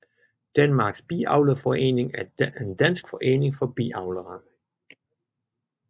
Danmarks Biavlerforening er en dansk forening for biavlere